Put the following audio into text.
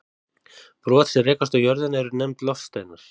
Brot sem rekast á jörðina eru nefnd loftsteinar.